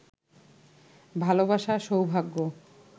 ভালোবাসা, সৌভাগ্য